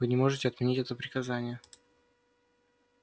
вы не можете отменить это приказание